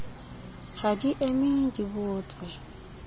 ha di eme di botse